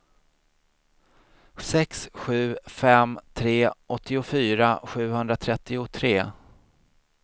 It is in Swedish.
sex sju fem tre åttiofyra sjuhundratrettiotre